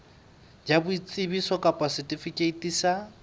ya boitsebiso kapa setifikeiti sa